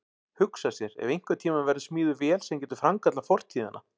Hugsa sér ef einhvern tíma verður smíðuð vél sem getur framkallað fortíðina.